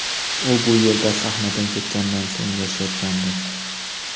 U bu yerda sahnadan ketganidan so‘ng yashayotgandi.